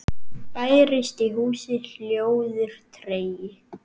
Bærist í húsi hljóður tregi.